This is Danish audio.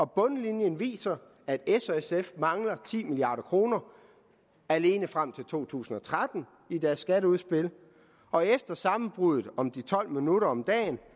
bundlinjen viser at s og sf mangler ti milliard kroner alene frem til to tusind og tretten i deres skatteudspil og efter at sammenbruddet om de tolv minutter om dagen